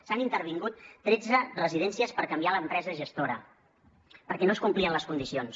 s’han intervingut tretze residències per canviar l’empresa gestora perquè no es complien les condicions